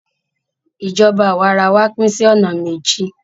Ìjọba àwa ara wa pín sí ọ̀nà méjì.